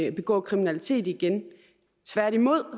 at begå kriminalitet igen tværtimod